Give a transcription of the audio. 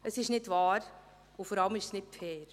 Es ist nicht wahr, und vor allem ist es nicht fair.